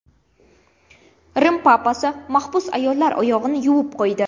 Rim Papasi mahbus ayollar oyog‘ini yuvib qo‘ydi.